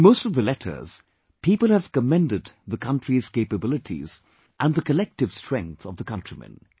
In most of the letters people have commended the country's capabilities and the collective strength of the countrymen